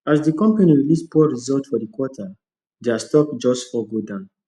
as the company release poor result for the quarter their stock just fall go down